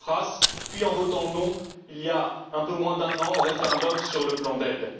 Tsipras, puis en votant non, il y a un peu moins d'un an, au référendum sur le plan d'aide.